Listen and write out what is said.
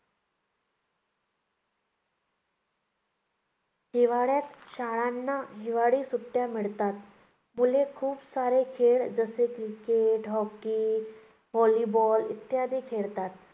हिवाळ्यात शाळांना हिवाळी सुट्ट्या मिळतात. मुले खूप सारे खेळ जसे क्रिकेट, हॉकी, व्हॉलीबॉल इत्यादी खेळतात.